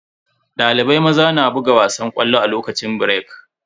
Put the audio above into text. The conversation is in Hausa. Dalibai maza na buga wasan ƙwallo a lokacin birek.